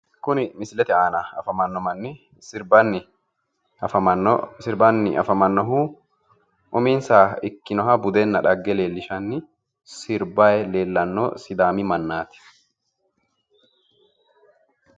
Kuni misilete aana afamanno manni sirbanni afamannohu sirbanni afamannohu uminsaha ikkinoha budenna dhagge leellishanni sirbayi leellanno sidaami mannaati.